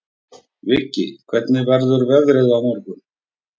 Viggi, hvernig verður veðrið á morgun?